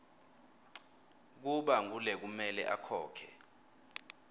kuba ngulekumele akhokhe